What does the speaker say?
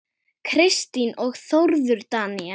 Kristín og Þórður Daníel.